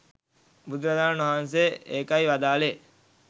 බුදුරජාණන් වහන්සේ ඒකයි වදාළේ